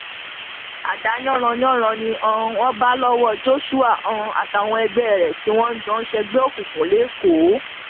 adá yanranyanran ni um wọn bá lọwọ joshua um àtàwọn ọrẹ ẹ tí wọn jọ ń ṣègbè òkùnkùn lẹkọọ